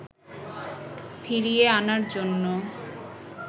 ফিরিয়ে আনার জন্য